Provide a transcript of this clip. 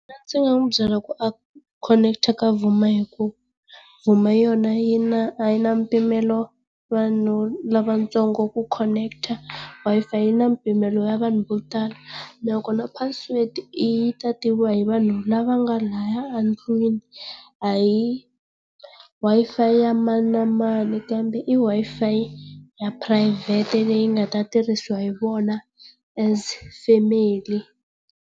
Ndzi nga n'wi byela ku a khoneketa ta Vuma hi ku Vuma yona yi na a yi na mpimelo vanhu lavatsongo ku khoneketa Wi-Fi yi na mpimelo wa vanhu vo tala. Loko na password i yi ta tiviwa hi vanhu lava nga laya a ndlwini a hi Wi-Fi ya mani na mani kambe i Wi-Fi ya phurayivhete leyi nga ta tirhisiwa hi vona as family.